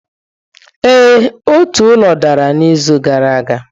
Ee, otu ụlọ dara n'izu gara aga.